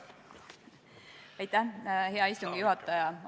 Hea istungi juhataja!